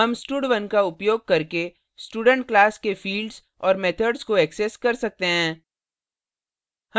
हम stud1 का उपयोग करके student class के fields और methods को access कर सकते हैं